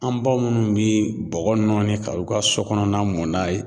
An ba munnu be bɔgɔ nɔɔni ka u ka so kɔnɔna mun n'a ye